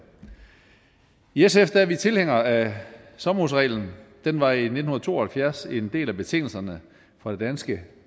i sf er vi tilhængere af sommerhusreglen den var i nitten to og halvfjerds en del af betingelserne for det danske